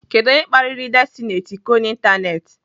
Kedụ onye kpariri Destiny Etiko n'ịntanetị?